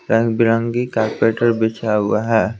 रंग बिरंगे कारपेट बिछा हुआ है ।